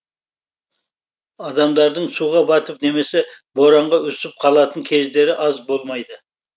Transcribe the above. адамдардың суға батып немесе боранға үсіп қалатын кездері аз болмайды